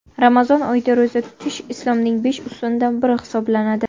Ramazon oyida ro‘za tutish Islomning besh ustunidan biri hisoblanadi.